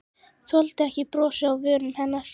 Þoldi ekki brosið á vörum hennar.